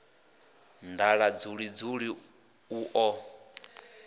nḓala dzuli dzuli u ḓo